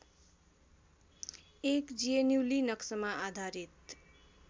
एक जिएनयुलिनक्समा आधारित